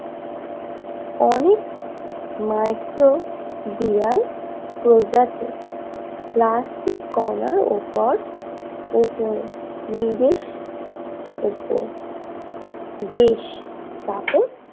অনেক মাইক্রোবিয়াল প্রজাতি প্লাস্টিক কণার ওপর ওপর নিজের উপর বিষ স্থাপন